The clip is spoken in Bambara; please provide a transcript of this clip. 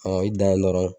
i dan ye dɔrɔn